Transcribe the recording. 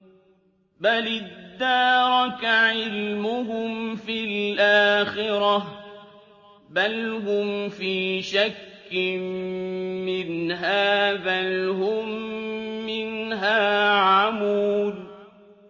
بَلِ ادَّارَكَ عِلْمُهُمْ فِي الْآخِرَةِ ۚ بَلْ هُمْ فِي شَكٍّ مِّنْهَا ۖ بَلْ هُم مِّنْهَا عَمُونَ